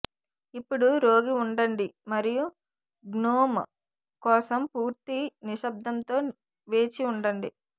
ఇప్పుడు రోగి ఉండండి మరియు గ్నోమ్ కోసం పూర్తి నిశ్శబ్దంతో వేచి ఉండండి